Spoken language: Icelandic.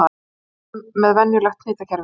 Byrjum með venjulegt hnitakerfi.